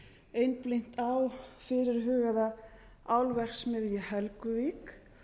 aðstæðna einblína á fyrirhugaða álverksmiðju í helguvík